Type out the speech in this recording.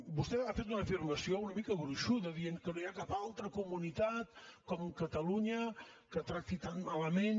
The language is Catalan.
vostè ha fet una afirmació una mica gruixuda i ha dit que no hi ha cap altra comunitat com catalunya que tracti tan malament